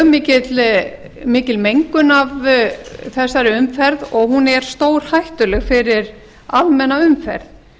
er mjög mikil mengun af þessari umferð og hún er stórhættuleg fyrir almenna umferð